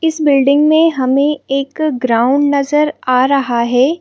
इस बिल्डिंग में हमें एक ग्राउंड नज़र आ रहा है।